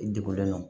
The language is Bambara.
I degunnen don